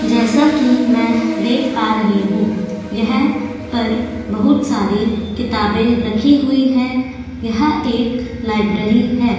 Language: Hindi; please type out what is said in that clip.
जैसा की मै देख पा रही हू यह पर किताबे रखी हुई है यहाँ एक लायब्रेरी है।